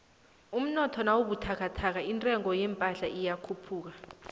umnotho nawubuthakathaka intengo yephahla iyakhuphuka